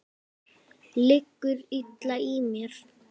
Liggur illa á mér?